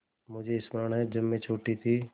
मुझे स्मरण है जब मैं छोटी थी